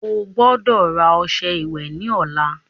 Ogbọ́dọ̀ rà ọṣẹ ìwẹ̀ ní ọ̀la